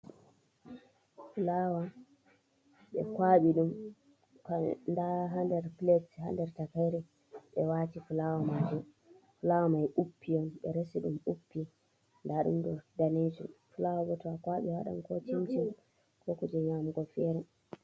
Fulawa, ɓe kawaɓi ɗum. Nɗa ha nɗer pilete ha nɗer takaire. Ɓe wati fulawa maji. Fulawa mai uppi on, ɓe resi ɗum uppi. Nɗa ɗum ɗo ɗanejum. Fulawa ɓo ta kawaɓi awaɗan ko cincin, ko kuji nyamugo fere.